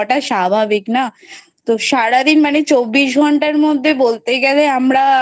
স্বাভাবিক না তো সারাদিন চব্বিশ ঘন্টার মধ্যে বলতে গেলে আমরা